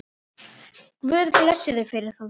Guð blessi þau fyrir það.